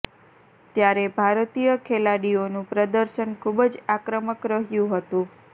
ત્યારે ભારતીય ખેલાડીઓનું પ્રદર્શન ખુબ જ આક્રમક રહ્યું હતું